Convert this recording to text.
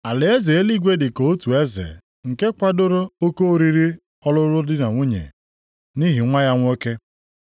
“Alaeze eluigwe dị ka otu eze, nke kwadoro oke oriri ọlụlụ di na nwunye, nʼihi nwa ya nwoke.